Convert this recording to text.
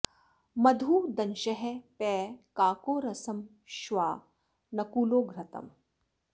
मधु दंशः पयः काको रसं श्वा नकुलो घृतम्